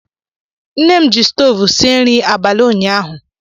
Nne m ji stoovu sie nri abalị ụnyaahụ